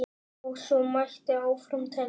Og svo mætti áfram telja.